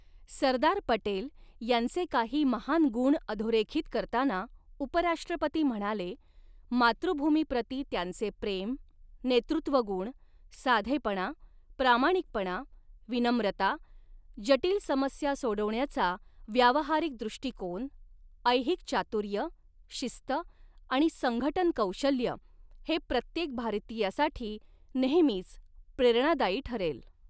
सरदार पटेल यांचे काही महान गुण अधोरेखित करताना उपराष्ट्रपती म्हणाले, मातृभूमीप्रति त्यांचे प्रेम, नेतृत्वगुण, साधेपणा, प्रामाणिकपणा, विनम्रता, जटिल समस्या सोडवण्याचा व्यावहारिक दृष्टीकोन, ऐहिक चातुर्य, शिस्त आणि संघटन कौशल्य हे प्रत्येक भारतीयासाठी नेहमीच प्रेरणादायी ठरेल.